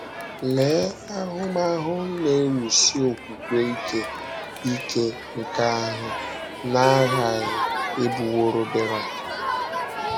Lee ahụmahụ na - ewusi okwukwe ike ike nke ahụ na - aghaghị ịbụworo Berak!